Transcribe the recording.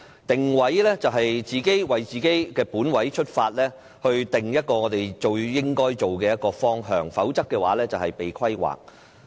"定位"即是從自己的本位出發，定下最應該做的方向，否則便是被規劃。